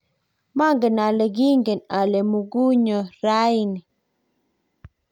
maangen ale kiingen ale mukunyo raini